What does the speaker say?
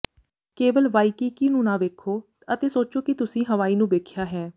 ਕੇਵਲ ਵਾਇਕੀਕੀ ਨੂੰ ਨਾ ਵੇਖੋ ਅਤੇ ਸੋਚੋ ਕਿ ਤੁਸੀਂ ਹਵਾਈ ਨੂੰ ਵੇਖਿਆ ਹੈ